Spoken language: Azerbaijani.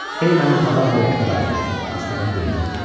Ey mənim ağam və hökmdarım, astadan dilləndi.